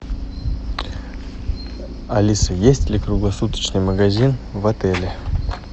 алиса есть ли круглосуточный магазин в отеле